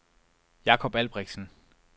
Jakob Albrechtsen